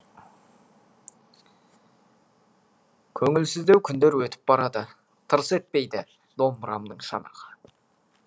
көңілсіздеу күндер өтіп барады тырс етпейді домбырамның шанағы